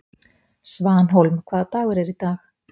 Svanhólm, hvaða dagur er í dag?